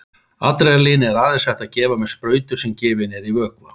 Adrenalín er aðeins hægt að gefa með sprautu sem gefin er í vöðva.